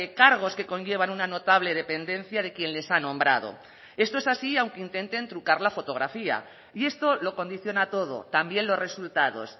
cargos que conllevan una notable dependencia de quien les ha nombrado esto es así aunque intenten trucar la fotografía y esto lo condiciona todo también los resultados